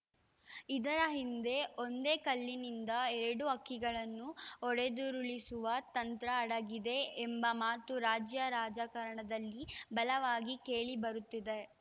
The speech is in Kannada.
ಇದರ ಹಿಂದೆ ಒಂದೇ ಕಲ್ಲಿನಿಂದ ಎರಡು ಹಕ್ಕಿಗಳನ್ನು ಹೊಡೆದುರುಳಿಸುವ ತಂತ್ರ ಅಡಗಿದೆ ಎಂಬ ಮಾತು ರಾಜ್ಯ ರಾಜಕಾರಣದಲ್ಲಿ ಬಲವಾಗಿ ಕೇಳಿಬರುತ್ತಿದೆ